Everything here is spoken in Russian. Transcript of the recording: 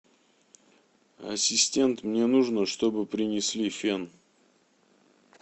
ассистент мне нужно чтобы принесли фен